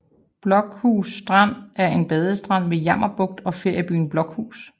Blokhus Strand er en badestrand ved Jammerbugt og feriebyen Blokhus